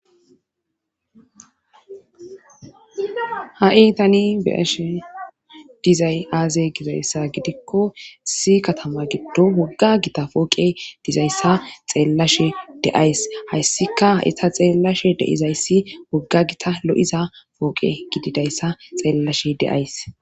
Ha7i tani beyashe dizay aaze gizayssa gidikko si katama giddo wogga gita pooqe dizayssa xeellashe deays hayssika ha7ita xeellashe deizayssi wogga gita lo7iza pooqe gididayssa xeellashe deays.